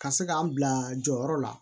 Ka se k'an bila jɔyɔrɔ la